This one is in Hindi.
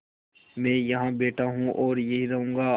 मैं यहाँ बैठा हूँ और यहीं रहूँगा